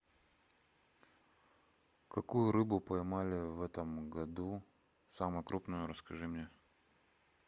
какую рыбу поймали в этом году самую крупную расскажи мне